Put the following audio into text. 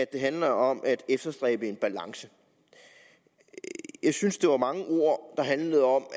det handler om at efterstræbe en balance jeg synes der var mange ord der handlede om